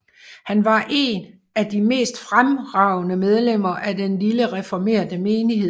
Han var et af de mest fremragende medlemmer af den lille reformerte menighed